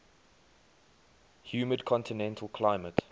humid continental climate